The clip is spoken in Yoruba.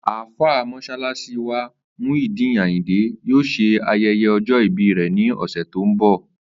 Àlfàá Mó̩s̩álás̩í wa, Muyideen Àyìndé, yóò s̩e aye̩ye̩ o̩jó̩ ìbí rè̩ ní ò̩sè̩ tó ń bò̩